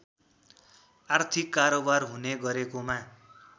आर्थिक कारोवार हुने गरेकोमा